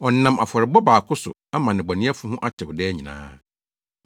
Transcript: Ɔnam afɔrebɔ baako so ama nnebɔneyɛfo ho atew daa nyinaa.